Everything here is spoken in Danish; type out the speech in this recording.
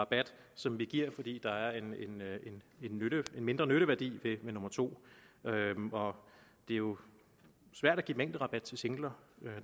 rabat som vi giver fordi der er en mindre nytteværdi ved nummer to og det er jo svært at give mængderabat til singler